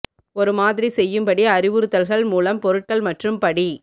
ஒரு மாதிரி செய்யும் படி அறிவுறுத்தல்கள் மூலம் பொருட்கள் மற்றும் படி